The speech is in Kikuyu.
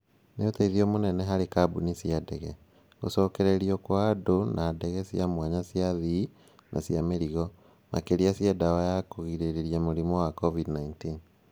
Nĩ ũteithio mũnene harĩ kambuni cia ndege. Gũcokererio kwa andũ na ndege cia mwanya cia athii na cia mĩrigo. Makĩria cia dawa ya kũrigĩreria mũrimũ wa COVID-19 .